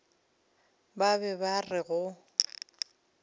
ba be ba re go